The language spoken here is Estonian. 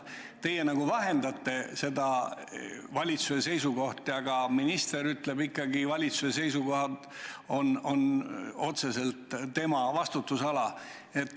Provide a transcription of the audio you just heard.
Teie nagu vahendate valitsuse seisukohti, aga minister ütleb ikkagi välja valitsuse seisukoha, see on otseselt tema vastutusala.